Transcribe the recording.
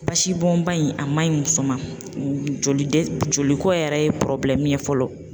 Basi bɔn ba in a ma ɲi muso ma, joli dɛ joliko yɛrɛ ye ye fɔlɔ